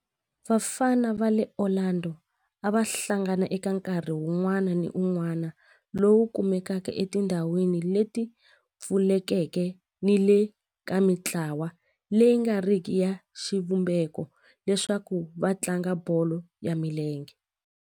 Vafana va le Orlando a va hlangana eka nkarhi wun'wana ni wun'wana lowu kumekaka etindhawini leti pfulekeke ni le ka mintlawa leyi nga riki ya xivumbeko leswaku va tlanga bolo ya milenge.